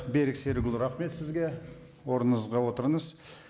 берік серікұлы рахмет сізге орныңызға отырыңыз